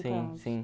Sim, sim.